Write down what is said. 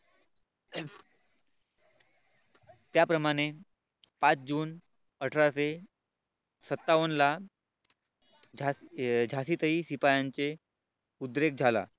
त्याप्रमाणे पाच जून अठराशे सत्तावन्न ला झाशीतही शिपायांचे उद्रेक झाला.